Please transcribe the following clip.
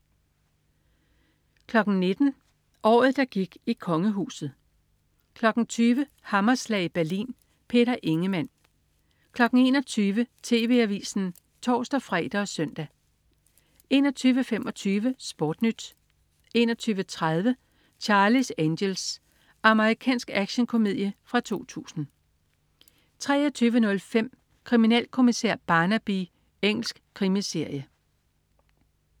19.00 Året, der gik i kongehuset 20.00 Hammerslag i Berlin. Peter Ingemann 21.00 TV Avisen (tors-fre og søn) 21.25 SportNyt 21.30 Charlie's Angels. Amerikansk actionkomedie fra 2000 23.05 Kriminalkommissær Barnaby. Engelsk krimiserie